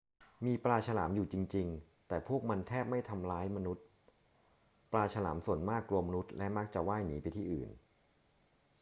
มีปลาฉลามอยู่จริง ๆ แต่พวกมันแทบไม่ทำร้ายมนุษย์ ปลาฉลามส่วนมากกลัวมนุษย์และมักจะว่ายหนีไปที่อื่น